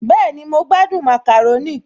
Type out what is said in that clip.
Bẹ́ẹ̀ni, mo gbádùn màkàrónì